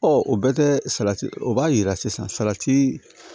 o bɛɛ tɛ salati o b'a yira sisan salati